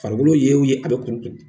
Farikolo ye o ye, a bɛ kuru kuru.